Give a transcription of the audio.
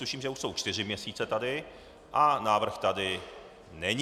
Tuším, že už jsou čtyři měsíce tady, a návrh tady není.